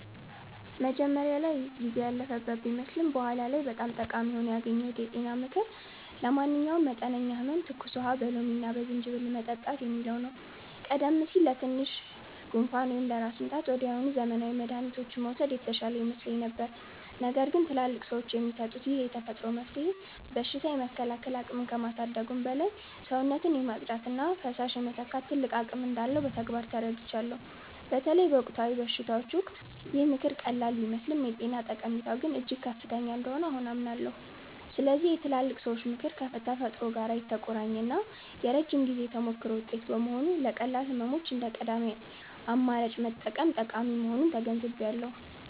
መጀመሪያ ላይ ጊዜ ያለፈበት ቢመስልም በኋላ ላይ በጣም ጠቃሚ ሆኖ ያገኘሁት የጤና ምክር 'ለማንኛውም መጠነኛ ህመም ትኩስ ውሃ በሎሚና በዝንጅብል መጠጣት' የሚለው ነው። ቀደም ሲል ለትንሽ ጉንፋን ወይም ለራስ ምታት ወዲያውኑ ዘመናዊ መድኃኒቶችን መውሰድ የተሻለ ይመስለኝ ነበር። ነገር ግን ትላልቅ ሰዎች የሚሰጡት ይህ የተፈጥሮ መፍትሄ በሽታ የመከላከል አቅምን ከማሳደጉም በላይ፣ ሰውነትን የማጽዳትና ፈሳሽ የመተካት ትልቅ አቅም እንዳለው በተግባር ተረድቻለሁ። በተለይ በወቅታዊ በሽታዎች ወቅት ይህ ምክር ቀላል ቢመስልም የጤና ጠቀሜታው ግን እጅግ ከፍተኛ እንደሆነ አሁን አምናለሁ። ስለዚህ የትላልቅ ሰዎች ምክር ከተፈጥሮ ጋር የተቆራኘና የረጅም ጊዜ ተሞክሮ ውጤት በመሆኑ፣ ለቀላል ህመሞች እንደ ቀዳሚ አማራጭ መጠቀም ጠቃሚ መሆኑን ተገንዝቤያለሁ።